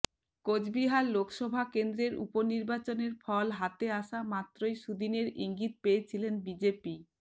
কোচবিহার লোকসভা কেন্দ্রের উপনির্বাচনের ফল হাতে আসা মাত্রই সুদিনের ইঙ্গিত পেয়েছিলেন বিজেপি